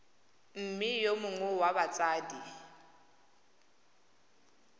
mme yo mongwe wa batsadi